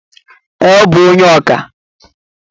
Ee, ọ bụ onye oka